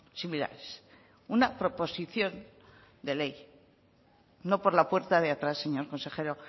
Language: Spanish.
similares una proposición de ley no por la puerta de atrás señor consejero